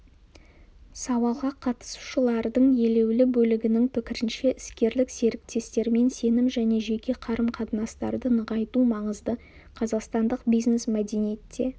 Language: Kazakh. сауалға қатысушылардың елеулі бөлігінің пікірінше іскерлік серіктестермен сенім және жеке қарым-қатынастарды нығайту маңызды қазақстандық бизнес-мәдениетте